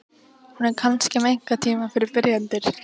Hún er kannski með einkatíma fyrir byrjendur?